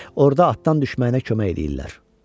Orda atdan düşməyinə kömək eləyirlər.